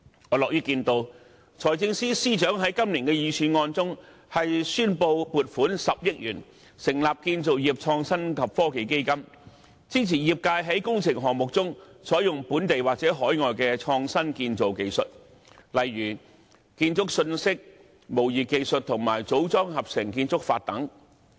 我樂於看到財政司司長在今年的預算案中宣布撥款10億元成立建造業創新及科技基金，支持業界在工程項目中採用本地或海外的創新建造技術，例如建築信息模擬技術和組裝合成建築法等。